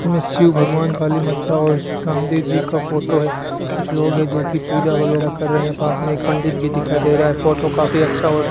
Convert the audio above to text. इनमें शिव भगवान काली माता और रामदेव जी का फोटो है कुछ लोग है जो की पूजा वगैरा कर रहे हैं पास में एक पंडित भी दिखाई दे रहा है फोटो काफी अच्छा और --